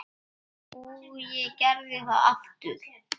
Og ég gerði það aftur.